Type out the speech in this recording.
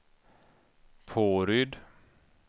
Påryd